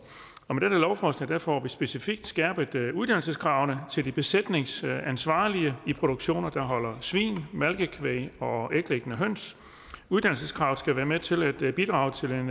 med dette lovforslag får vi specifikt skærpet uddannelseskravene til de besætningsansvarlige i produktioner der holder svin malkekvæg og æglæggende høns uddannelseskravet skal være med til at bidrage til